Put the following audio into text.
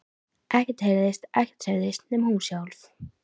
Ekkert heyrðist, ekkert hreyfðist, nema hún sjálf.